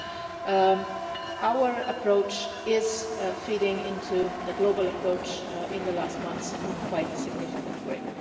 So our approach is feeding into the global approach in the last months in quite a significant way.